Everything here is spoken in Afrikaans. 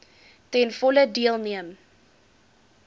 ten volle deelneem